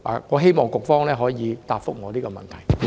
我希望局方可以回答我這個問題。